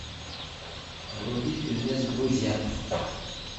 вруби фильмец друзья